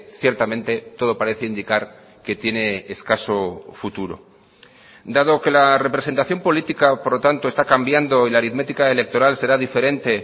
ciertamente todo parece indicar que tiene escaso futuro dado que la representación política por lo tanto está cambiando y la aritmética electoral será diferente